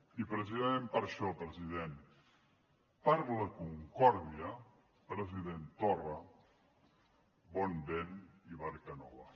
i precisament per això president per a la concòrdia president torra bon vent i barca nova